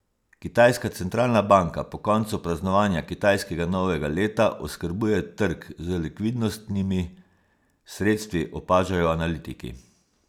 Kitajska centralna banka po koncu praznovanja kitajskega novega leta oskrbuje trg z likvidnostnimi sredstvi, opažajo analitiki.